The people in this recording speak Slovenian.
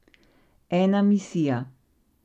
Ena misija.